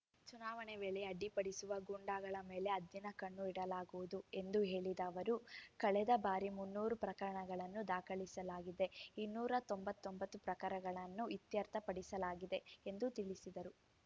ಚುನಾವಣೆ ವೇಳೆ ಅಡ್ಡಿಪಡಿಸುವ ಗೂಂಡಾಗಳ ಮೇಲೆ ಹದ್ದಿನಕಣ್ಣು ಇಡಲಾಗುವುದು ಎಂದು ಹೇಳಿದ ಅವರು ಕಳೆದ ಬಾರಿ ಮುನ್ನೂರು ಪ್ರಕರಣಗಳನ್ನು ದಾಖಲಿಸಲಾಗಿದ್ದು ಇನ್ನೂರ ತೊಂಬತ್ತೊಂಬತ್ತು ಪ್ರಕರಣಗಳನ್ನು ಇತ್ಯರ್ಥ ಪಡಿಸಲಾಗಿದೆ ಎಂದು ತಿಳಿಸಿದರು